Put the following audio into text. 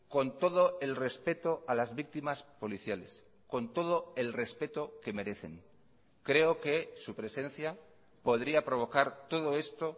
con todo el respeto a las víctimas policiales con todo el respeto que merecen creo que su presencia podría provocar todo esto